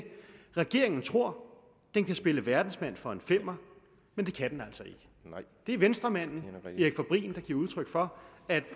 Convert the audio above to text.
regeringen tror den kan spille verdensmand for en femmer men det kan den altså ikke det er venstremanden erik fabrin der giver udtryk for at